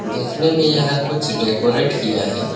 देखने में यह कुछ डेकोरेट किया है।